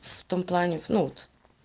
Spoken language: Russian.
в том плане ну вот